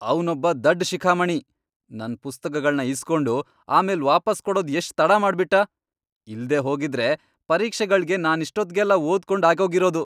ಅವ್ನೊಬ್ಬ ದಡ್ಡ್ ಶಿಖಾಮಣಿ! ನನ್ ಪುಸ್ತಕಗಳ್ನ ಇಸ್ಕೊಂಡು ಆಮೇಲ್ ವಾಪಸ್ ಕೊಡೋದ್ ಎಷ್ಟ್ ತಡ ಮಾಡ್ಬಿಟ್ಟ.. ಇಲ್ದೇ ಹೋಗಿದ್ರೆ ಪರೀಕ್ಷೆಗಳ್ಗೆ ನಾನಿಷ್ಟೊತ್ಗೆಲ್ಲ ಓದ್ಕೊಂಡ್ ಆಗೋಗಿರದು.